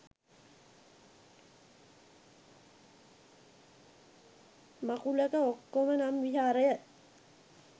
මකුලක මක්කම නම් විහාරය